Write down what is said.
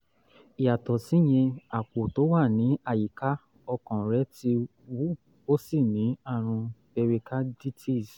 yàtọ̀ síyẹn àpò tó wà ní àyíká ọkàn rẹ̀ ti wú ó sì ní àrùn pericarditis